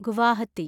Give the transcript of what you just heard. Guwahati